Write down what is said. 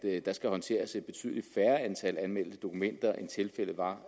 at der skal håndteres et betydelig færre antal anmeldte dokumenter end tilfældet var